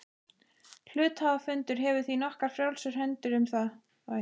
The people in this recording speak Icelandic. Hluthafafundur hefur því nokkuð frjálsar hendur um val þeirra.